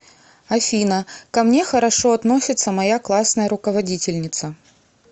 афина ко мне хорошо относится моя классная руководительница